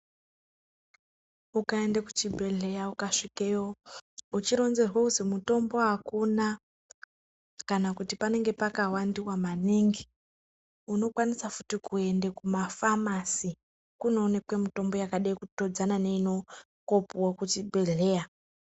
Ukaenda kuchibhedhlera uchironzerwa kuti mutombo akuna kana kuti panenge pakawandiwa maningi unokwanisa futi kuenda kuma famasi kunoonekwa mitombo yakada kutodzana neinopuwa kuchibhedhlera.